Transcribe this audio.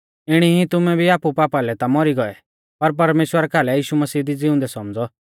इणी ई तुमै भी आपु पापा लै ता मौरी गौऐ पर परमेश्‍वरा कालै यीशु मसीह दी ज़िउंदै सौमझ़ौ